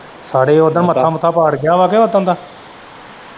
ਸਾਰੇ ਉਦਾਂ ਮੱਥਾ ਮੁੱਥਾ ਪਾਟ ਗਿਆ ਵਾ ਓਦਨ ਦਾ।